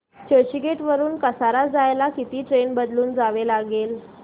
चर्चगेट वरून कसारा जायला किती ट्रेन बदलून जावे लागेल